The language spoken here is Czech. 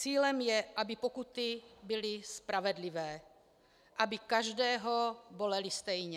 Cílem je, aby pokuty byly spravedlivé, aby každého bolely stejně.